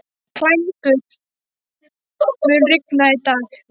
Klængur, mun rigna í dag?